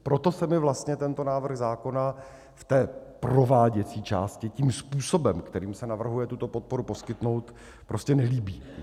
Proto se mi vlastně tento návrh zákona v té prováděcí části tím způsobem, kterým se navrhuje tuto podporu poskytnout, prostě nelíbí.